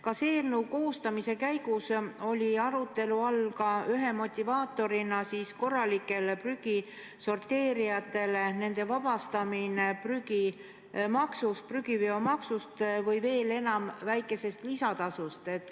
Kas eelnõu koostamise käigus oli arutelu all ühe motivaatorina korralike prügisorteerijate vabastamine prügiveomaksust või veel enam, neile väikese lisatasu maksmisest?